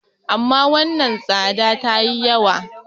amma wannan tsada ta yi yawa